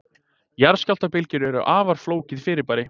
jarðskjálftabylgjur eru afar flókið fyrirbæri